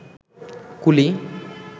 কুলি